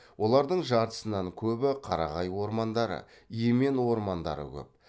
олардың жартысынан көбі қарағай ормандары емен ормандары көп